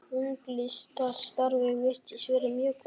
Unglingastarfið virðist vera mjög gott.